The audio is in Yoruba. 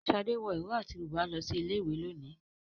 Shade wọ ìró àti bùbá lọ sí ilé ìwé lónìí.